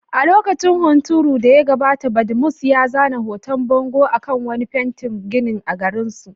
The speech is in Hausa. A lokacin hunturun da ya gabata, Badmus ya zana hoton bango a kan wani fitaccen gini a garin.